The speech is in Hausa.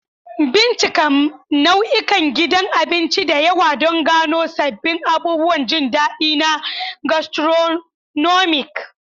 Bincika nau'ikan gidan abinci da yawa don gano sabbin abubuwan jin daɗi na gastronomic.